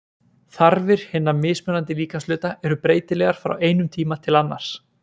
þarfir hinna mismunandi líkamshluta eru breytilegar frá einum tíma til annars